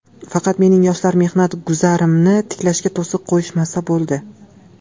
Faqat mening Yoshlar mehnat guzarimni tiklashga to‘siq qo‘yishmasa bo‘ldi.